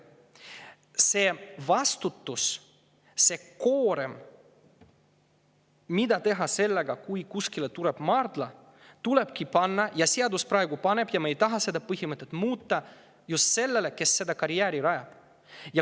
See vastutus, mida teha sellega, kui kusagile tuleb maardla, tulebki panna – seadus praegu paneb ja me ei taha seda põhimõtet muuta – just sellele, kes seda karjääri rajab.